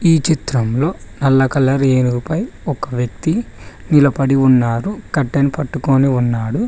ఈ చిత్రంలో నల్ల కలర్ ఏనుగుపై ఒక వ్యక్తి నిలపడి ఉన్నారు కట్టెను పట్టుకొని ఉన్నాడు.